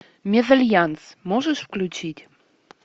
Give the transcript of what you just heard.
мезальянс можешь включить